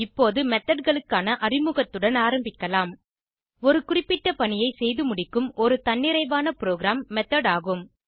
இப்போது methodகளுக்கான அறிமுகத்துடன் ஆரம்பிக்கலாம் ஒரு குறிப்பிட்ட பணியை செய்துமுடிக்கும் ஒரு தன்னிறைவான ப்ரோகிராம் மெத்தோட் ஆகும்